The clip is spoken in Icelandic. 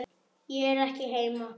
Ég er ekki heima